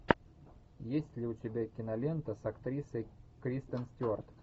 есть ли у тебя кинолента с актрисой кристен стюарт